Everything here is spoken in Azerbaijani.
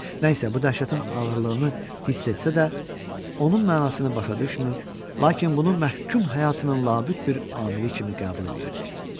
Nə isə bu dəhşətin ağırlığını hiss etsə də, onun mənasını başa düşmür, lakin bunu məhkum həyatının labüd bir amili kimi qəbul edirdi.